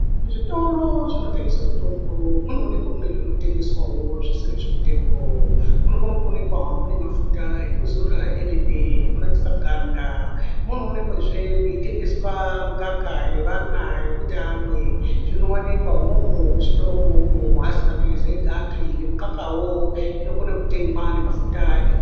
Zvitoro zvinotengeswe mitombo munoonekwa mune zvinotengeswawo zvisiri zvemutombo. Munokona kuonekwa mune mafuta ekuzora emene ekunakise ganda. Munoonekwazve mweitengeswa mikaka yevana yekuti vamwe zvinowanikwa umwomwo muchitoro mwona umwomwo. Aasi maphirizi egapi nemukakawo inokone kutengwa nemafutawo ekuzora.